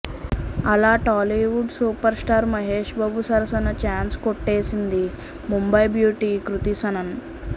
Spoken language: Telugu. అలా Tollywood super star Mahesh Babu సరసన చాన్స్ కొట్టేసింది ముంబై బ్యూటీ కృతి సనన్